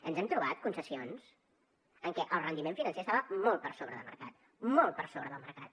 ens hem trobat concessions en què el rendiment financer estava molt per sobre del mercat molt per sobre del mercat